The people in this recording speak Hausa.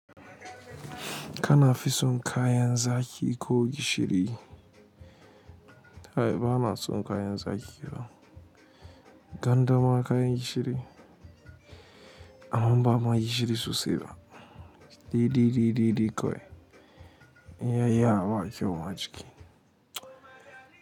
Kana fi son kayan zaƙi ko gishiri? Kai banason kayan zaƙi fa gwanda ma kayan gishiri? Amma ba mai gishiri sosai ba. Daidai daidai dai kawai in ya yi yawa babu kyau a jiki.